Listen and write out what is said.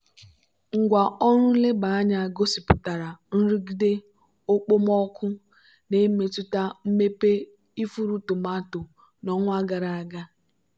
ngwá ọrụ nleba anya gosipụtara nrụgide okpomọkụ na-emetụta mmepe ifuru tomato n'ọnwa gara aga.